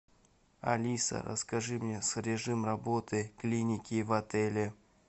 алиса расскажи мне режим работы клиники в отеле